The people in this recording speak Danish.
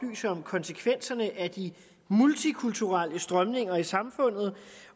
konsekvenserne af de multikulturelle strømninger i samfundet